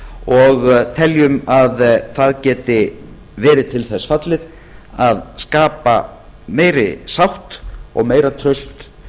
og teljum að það geti verið til þess fallið að skapa meiri sátt og meira traust